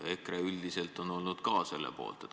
EKRE üldiselt on olnud ka selle poolt.